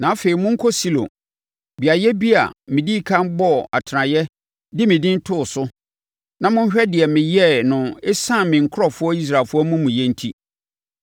“ ‘Na afei monkɔ Silo, beaeɛ bi a, medii ɛkan bɔɔ atenaeɛ de me Din too so, na monhwɛ deɛ meyɛɛ no ɛsiane me nkurɔfoɔ Israelfoɔ amumuyɛ enti.